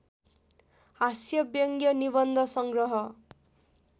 हास्यव्यङ्ग्य निबन्ध सङ्ग्रह